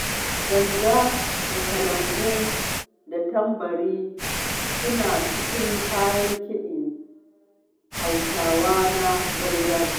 Ganga da kalangu da tambari suna cikin kayan kiɗan Hausawa na gargajiya.